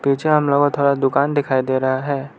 पीछे उनलोगो थोड़ा दुकान दिखाई दे रहा है।